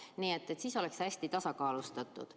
Aga siis oleks teie jutt hästi tasakaalustatud.